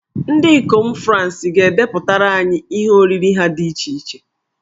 Ndị ikom Fransị ga-edepụtara anyị ihe oriri ha dị iche iche.